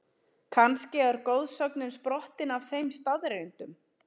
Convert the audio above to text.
Kannski er goðsögnin sprottin af þeim staðreyndum?